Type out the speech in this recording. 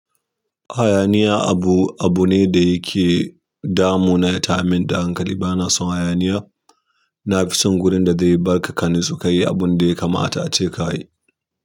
Hayaniya abu, abu ne da yake damu na. Yata yar min da hankali, bana son hayaniya. Na fi son wurin da zai barka ka nutsu ka yi abun da ya kamata a ce ka yi.